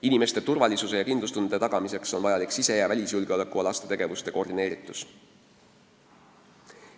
Inimeste turvalisuse ja kindlustunde tagamiseks on vajalik sise- ja välisjulgeolekualaste tegevuste koordineeritus.